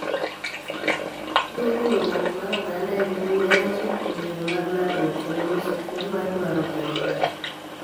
Ni riwruok mar oganda e mbui en achiel kuom yore mag lalruok kendo nyiso chuny mar dwaro gero oganda